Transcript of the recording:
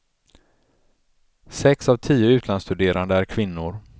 Sex av tio utlandsstuderande är kvinnor.